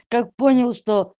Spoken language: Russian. как понял что